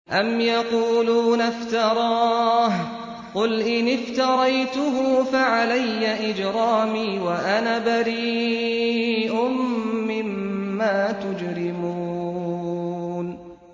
أَمْ يَقُولُونَ افْتَرَاهُ ۖ قُلْ إِنِ افْتَرَيْتُهُ فَعَلَيَّ إِجْرَامِي وَأَنَا بَرِيءٌ مِّمَّا تُجْرِمُونَ